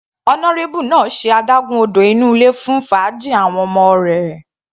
Honourable náà ṣe adágún odò inú ilé fún fàájì àwọn ọmọ rẹ̀.